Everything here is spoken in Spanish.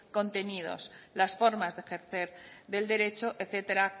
contenidos las formas de ejercer del derecho etcétera